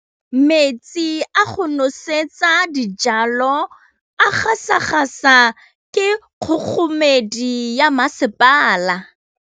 Metsi a go nosetsa dijalo a gasa gasa ke kgogomedi ya masepala.